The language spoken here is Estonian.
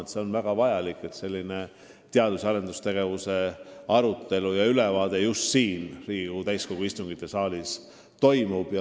On väga vajalik, et teadus- ja arendustegevuse arutelu ja ülevaade asjade seisust just siin Riigikogu täiskogu istungisaalis toimub.